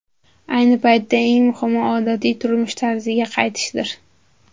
Ayni paytda eng muhimi odatiy turmush tarziga qaytishdir”.